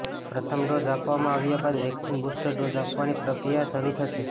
પ્રથમ ડોઝ આપવામાં આવ્યા બાદ વેક્સિન બુસ્ટર ડોઝ આપવાની પ્રક્રિયા શરૂ થશે